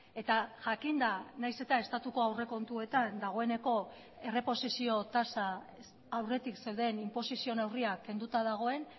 eta jakinda nahiz eta estatuko aurrekontuetan dagoeneko erreposizio tasa aurretik zeuden inposizio neurriak kenduta dagoen